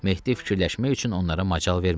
Mehdi fikirləşmək üçün onlara macal vermədi.